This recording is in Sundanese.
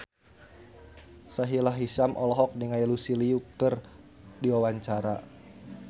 Sahila Hisyam olohok ningali Lucy Liu keur diwawancara